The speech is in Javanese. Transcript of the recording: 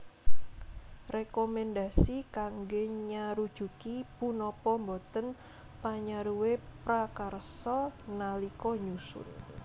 Rekomendasi kangge nyarujuki punapa boten panyaruwe prakarsa nalika nyusun